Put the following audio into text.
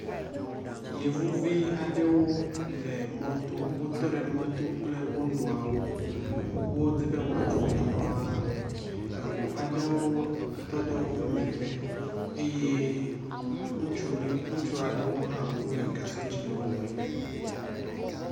Yevuvi aɖewo le mɔto, wotɔ ɖe mɔto kple wonɔawo, wodzi be woatso emɔa la, eŋu aɖewo tɔ ɖe woƒe megbe eye ŋutsu aɖewo hã wole gasɔ̃ dzi le womegbe